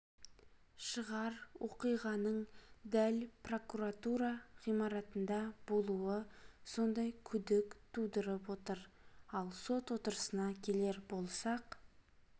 шығар оқиғаның дәл прокуратура ғимаратында болуы сондай күдік тудырып отыр ал сот отырысына келер болсақ